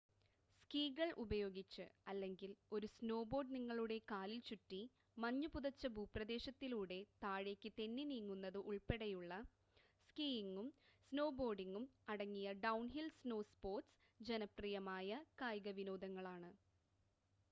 സ്കി കൾ ഉപയോഗിച്ച് അല്ലെങ്കിൽ ഒരു സ്നോബോർഡ് നിങ്ങളുടെ കാലിൽ ചുറ്റി മഞ്ഞ് പുതച്ച ഭൂപ്രദേശത്തിലൂടെ താഴേക്ക് തെന്നി നീങ്ങുന്നത് ഉൾപ്പെടെയുള്ള, സ്കിയിംങും സ്നോ ബോർഡിംങും അടങ്ങിയ ഡൗൺഹിൽ സ്നോസ്പോർട്സ് ജനപ്രിയമായ കായികവിനോദങ്ങളാണ്